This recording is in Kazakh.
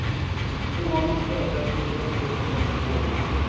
бүгін алматыда дәстүрлі цифрлық форум өтті